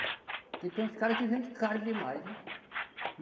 Porque tem uns cara que vende caro demais, hein?